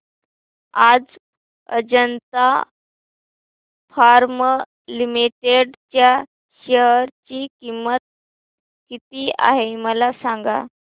आज Ajanta pharma limited च्या share ची किंमत किती आहे मला सांगा